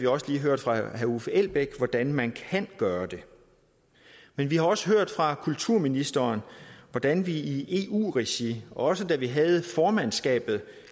også lige hørt fra herre uffe elbæk hvordan man kan gøre det men vi har også hørt fra kulturministeren hvordan vi i eu regi også da vi havde formandskabet